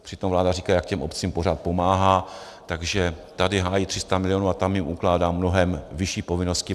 Přitom vláda říká, jak těm obcím pořád pomáhá, takže tady hájí 300 milionů a tam jim ukládá mnohem vyšší povinnosti.